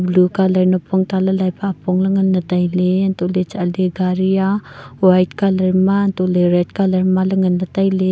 blue colour nappong talailai pa apong la nganne taile hanto le chatle gari aa white colour ma hantole red colour ma le ngan wai taile.